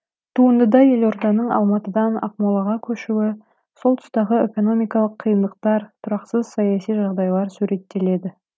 туындыда елорданың алматыдан ақмолаға көшуі сол тұстағы экономикалық қиындықтар тұрақсыз саяси жағдайлар суреттеледі